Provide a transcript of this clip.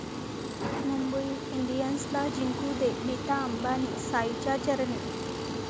मुंबई इंडियन्सला जिंकू दे, नीता अंबानी साईंच्या चरणी